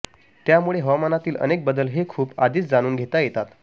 त्यामुळे हवामानातील अनेक बदल हे खूप आधीच जाणून घेता येतात